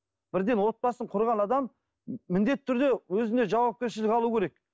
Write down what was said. бірден отбасын құрған адам міндетті түрде өзіне жауапкершілік алу керек